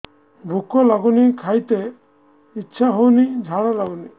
ଭୁକ ଲାଗୁନି ଖାଇତେ ଇଛା ହଉନି ଝାଡ଼ା ଲାଗୁନି